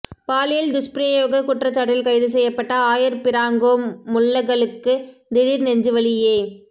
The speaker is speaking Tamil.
பாலியல் துஷ்பிரயோக குற்றச்சாட்டில் கைது செய்யப்பட்ட ஆயர் பிராங்கோ முல்லக்கலுக்கு திடீர் நெஞ்சு வலி ஏ